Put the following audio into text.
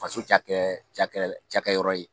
Faso cakɛ cakɛ cakɛ yɔrɔ ye.